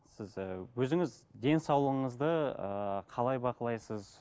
сіз ыыы өзіңіз денсаулығыңызды ыыы қалай бақылайсыз